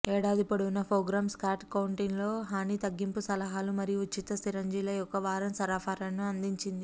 ఏడాది పొడవునా programme Scott కౌంటీలో హాని తగ్గింపు సలహాలు మరియు ఉచిత సిరంజిల యొక్క వారం సరఫరాను అందించింది